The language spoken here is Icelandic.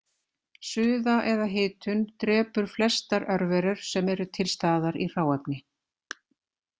Suða eða hitun drepur flestar örverur sem eru til staðar í hráefni.